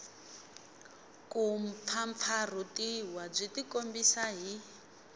ku mpfampfarhutiwa byi tikombisa hi